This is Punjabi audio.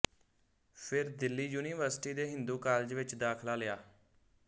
ਫਿਰ ਦਿੱਲੀ ਯੂਨੀਵਰਸਿਟੀ ਦੇ ਹਿੰਦੂ ਕਾਲਜ ਵਿੱਚ ਦਾਖਲਾ ਲਿਆ